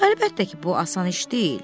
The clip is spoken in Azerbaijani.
Əlbəttə ki, bu asan iş deyil.